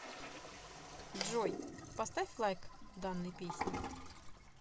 джой поставь лайк данной песне